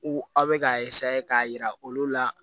U aw bɛ k'a k'a yira olu la